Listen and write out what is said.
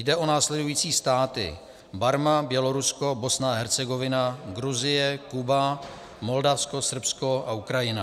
Jde o následující státy: Barma, Bělorusko, Bosna a Hercegovina, Gruzie, Kuba, Moldavsko, Srbsko a Ukrajina.